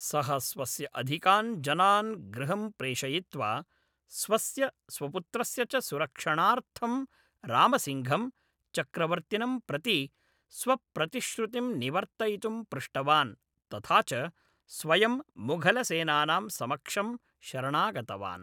सः स्वस्य अधिकान् जनान् गृहं प्रेषयित्वा, स्वस्य, स्वपुत्रस्य च सुरक्षणार्थं रामसिङ्घं, चक्रवर्तिनं प्रति स्वप्रतिश्रुतिं निवर्तयितुं पृष्टवान्, तथा च स्वयं मुघलसेनानां समक्षं शरणागतवान्।